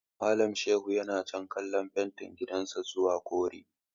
Malam Shehu yana canza kalar fentin gidan sa zuwa kore.